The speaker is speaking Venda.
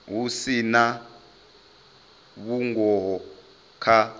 hu si na vhungoho kha